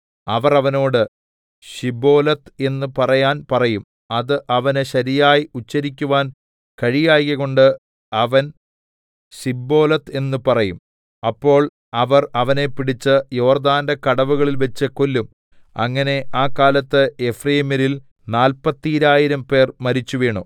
അവർ അവനോട് ശിബ്ബോലെത്ത് എന്ന് പറയാൻ പറയും അത് അവന് ശരിയായി ഉച്ചരിക്കുവാൻ കഴിയായ്കകൊണ്ട് അവൻ സിബ്ബോലെത്ത് എന്ന് പറയും അപ്പോൾ അവർ അവനെ പിടിച്ച് യോർദ്ദാന്റെ കടവുകളിൽവച്ച് കൊല്ലും അങ്ങനെ ആ കാലത്ത് എഫ്രയീമ്യരിൽ നാല്പത്തീരായിരംപേർ മരിച്ചുവീണു